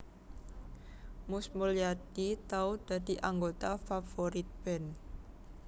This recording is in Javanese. Mus Mulyadi tau dadi anggota Favourite Band